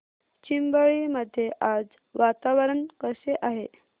चिंबळी मध्ये आज वातावरण कसे आहे